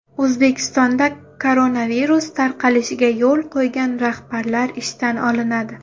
O‘zbekistonda koronavirus tarqalishiga yo‘l qo‘ygan rahbarlar ishdan olinadi.